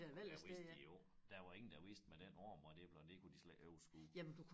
Og der vidste de jo der var ingen der vidste med den arm og det og det kunne de slet ikke overskue